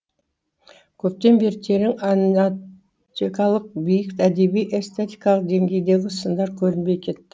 көптен бері терең анатикалық биік әдеби эстетикалық деңгейдегі сындар көрінбей кетті